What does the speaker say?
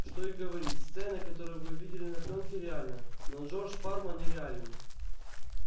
что и говорить сцена которую вы видели на плёнке реальна но джордж парма нереален